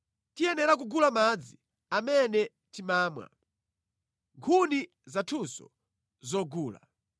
Tiyenera kugula madzi amene timamwa, nkhuni zathunso nʼzogula.